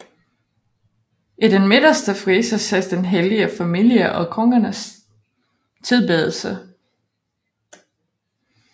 I den midterste frise ses Den hellige familie og Kongernes tilbedelse